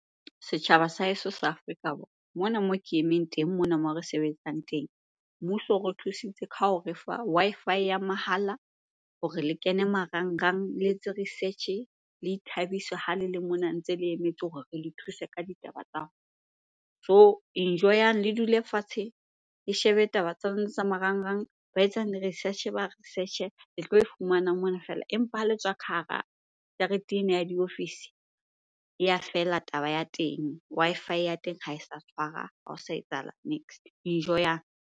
Setjhaba sa heso sa Afrika Borwa, mona moo ke emeng teng mona mo re sebetsang teng. Mmuso o re thusitse ka ho re fa Wi-Fi ya mahala hore le kene marangrang le etse research-e, le ithabise ha le le mona ntse le emetse hore re le thuse ka ditaba tsa . Jo! Enjoy-ang, le dule fatshe, le shebe taba tsa lona tsa marangrang. Ba etsang di-research-e ba research-e, le tlo e fumanang mona fela. Empa ha le tswa ka hara jarete ena ya diofisi, e ya fela taba ya teng. Wi-Fi ya teng ha e sa tshwara, ha ho sa etsahala niks-e. Enjoy-ang.